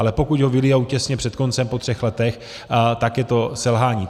Ale pokud ho vylijou těsně před koncem po třech letech, tak je to selhání.